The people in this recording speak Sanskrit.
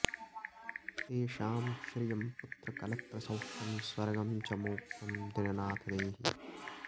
तेषां श्रियं पुत्रकलत्रसौख्यं स्वर्गं च मोक्षं दिननाथ देहि